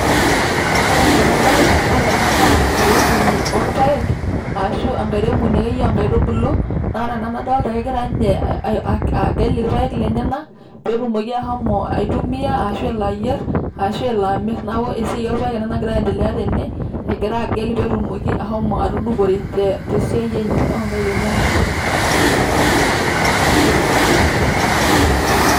ore enaa enadolita ore ena naa enkairemoni oorpaek ashu enkairemoni ake yie oonkaitubulu. naa ore ena nadolta kegira inye agel irpaek lenyenak petumoki ahomo aitumia ashu elo ayier ashu elo amir . niaku esiai oorpaek ena nagira aendelea tene egira agel ,petumoki ahomo atudupore te siai enye onkaik enyenak.